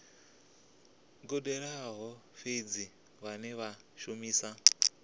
gudelaho fhedzi vhane vha shumisa